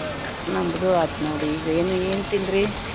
ನಮ್ದೂ ಆತ್ ನೋಡ್ ಈಗ ಏನು ಏನ್ ತಿಂದ್ರಿ?